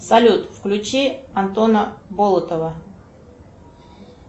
салют включи антона болотова